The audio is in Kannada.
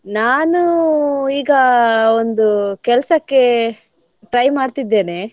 ನಾನು ಈಗ ಒಂದು ಕೆಲ್ಸಕ್ಕೆ try ಮಾಡ್ತಿದ್ದೇನೆ.